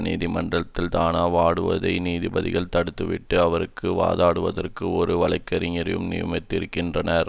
நீதிமன்றத்தில் தானே வாதாடுவதை நீதிபதிகள் தடுத்துவிட்டு அவருக்கு வாதாடுவதற்கு ஒரு வழக்கறிஞரையும் நியமித்திருக்கின்றனர்